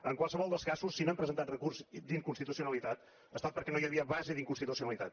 en qualsevol dels casos si no hem presentat recurs d’inconstitucionalitat ha estat perquè no hi havia base d’inconstitucionalitat